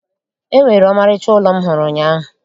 E nwere ọmarịcha ụlọ m hụrụ ụnyaahụ